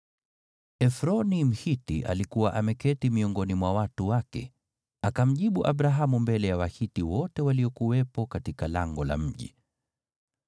Efroni Mhiti alikuwa ameketi miongoni mwa watu wake, akamjibu Abrahamu mbele ya Wahiti wote waliokuwepo katika lango la mji.